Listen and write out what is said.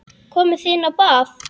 Komið þið inn á bað.